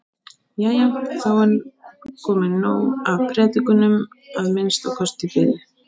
Jæja, þá er komið nóg af predikunum, að minnsta kosti í bili.